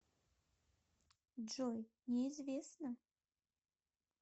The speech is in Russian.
джой неизвестно